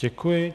Děkuji.